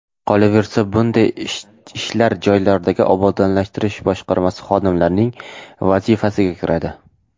Qolaversa, bunday ishlar joylardagi obodonlashtirish boshqarmasi xodimlarining vazifasiga kiradi.